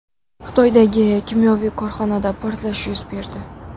Xitoydagi kimyoviy korxonada portlash yuz berdi.